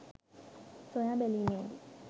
සොයා බැලීමේදී